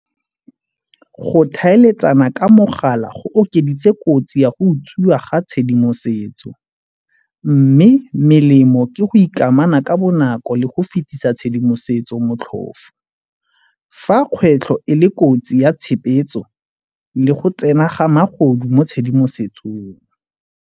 Go tlhaeletsana ka mogala go okeditse kotsi ya go utswiwa ga tshedimosetso mme melemo ke go ikamana ka bonako le go fitlhisa tshedimosetso motlhofo. Fa kgwetlho e le kotsi ya le go tsena ga magodu mo tshedimosetsong.